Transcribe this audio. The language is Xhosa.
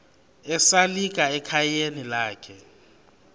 esalika ekhayeni lakhe